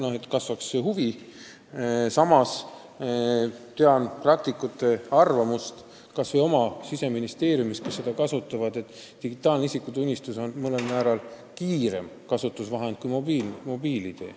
Samas tean kas või oma Siseministeeriumist nende praktikute arvamust, kes neid kasutavad, et digitaalne isikutunnistus on mõnel määral kiirem kui mobiil-ID.